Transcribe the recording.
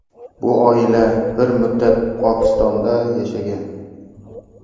Bu oila bir muddat Pokistonda yashagan.